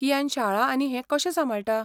कियान शाळा आनी हें कशें सांबाळटा?